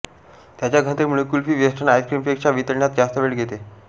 त्याच्या घनतेमुळे कुल्फी वेस्टर्न आईस्क्रीमपेक्षा वितळण्यास जास्त वेळ घेते